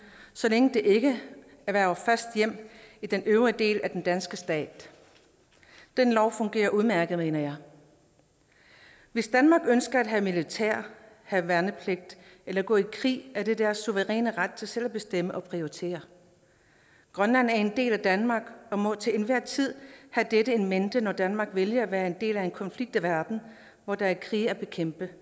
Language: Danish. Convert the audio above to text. så længe de ikke erhverver fast hjem i den øvrige del af den danske stat den lov fungerer udmærket mener jeg hvis danmark ønsker at have militær have værnepligt eller gå i krig er det deres suveræne ret til selv at bestemme og prioritere grønland er en del af danmark og må til enhver tid have dette in mente når danmark vælger at være en del af en konflikt i verden hvor der er krige at bekæmpe